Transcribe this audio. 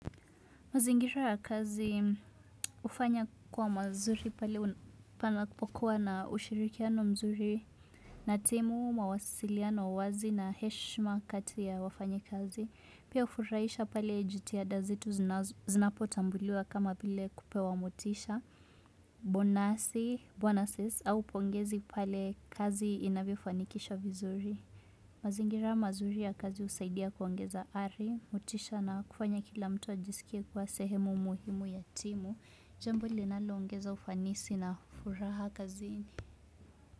Mazingira ya kazi ufanya kwa mazuri pale panakupokuwa na ushirikiano mzuri na timu, mawasiliano wazi na heshima kati ya wafanyi kazi. Pia ufuraisha pale jitihada zeu zinapotambuliwa kama vile kupewa mutisha, bonasi, bonuses au pongezi pale kazi inavyofanikisha vizuri. Mazingira mazuri ya kazi husaidia kuongeza ari, mutisha na kufanya kila mtu ajisikie kwa sehemu muhimu ya timu, jambo linaloongeza ufanisi na furaha kazini.